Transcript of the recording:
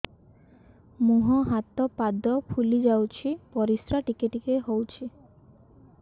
ମୁହଁ ହାତ ପାଦ ଫୁଲି ଯାଉଛି ପରିସ୍ରା ଟିକେ ଟିକେ ହଉଛି